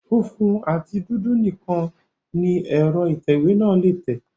Funfun àti dúdú nìkan ni ẹ̀rọ atẹ ìwé náà lé tẹ̀